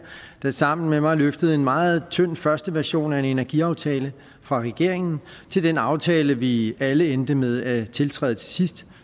der sammen med mig løftede en meget tynd første version af en energiaftale fra regeringen til den aftale vi alle endte med at tiltræde til sidst